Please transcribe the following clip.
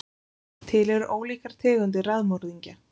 Til eru ólíkar tegundir raðmorðingja.